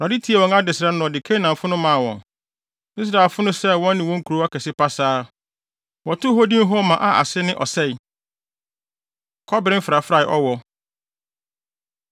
Awurade tiee wɔn adesrɛ no na ɔde Kanaanfo no maa wɔn. Israelfo no sɛee wɔn ne wɔn nkurow akɛse pasaa; wɔtoo hɔ din Horma a ase ne “Ɔsɛe.” Kɔbere Mfrafrae Ɔwɔ